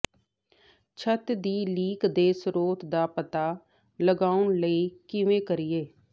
ਛੱਤ ਦੀ ਲੀਕ ਦੇ ਸਰੋਤ ਦਾ ਪਤਾ ਲਗਾਉਣ ਲਈ ਕਿਵੇਂ ਕਰੀਏ